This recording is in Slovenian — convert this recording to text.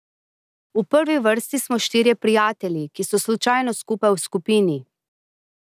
V prvi vrsti smo štirje prijatelji, ki so slučajno skupaj v skupini.